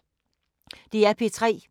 DR P3